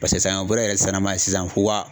sisan bɔrɔ yɛrɛ sisannama ye sisan fo wa